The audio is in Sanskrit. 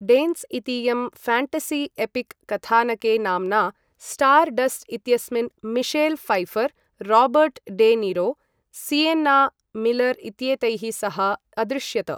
डेन्स् इतीयं ऴ्याण्टसि एपिक् कथानके नाम्ना स्टार् डस्ट् इत्यस्मिन् Michelle Pfeiffer, Robert De Niro, Sienna Miller इत्येतैः सह अदृश्यत।